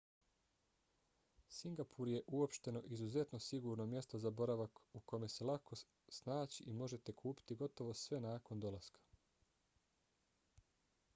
singapur je uopšteno izuzetno sigurno mjesto za boravak u kome se lako snaći i možete kupiti gotovo sve nakon dolaska